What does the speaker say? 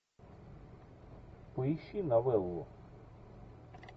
поищи новеллу